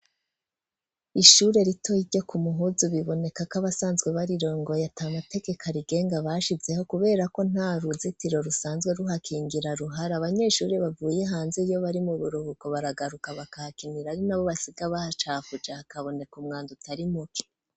Ishure rito iryo ku muhuzu biboneka ko abasanzwe barirongoye atamatekekarigenga bashizeho kubera ko nta ruzitiro rusanzwe ruhakingira ruhara abanyeshuri bavuye hanze iyo bari mu buruhuko baragaruka bakakinira ari nabo basiga bahacakujaha kaboneka umwanda utari muke.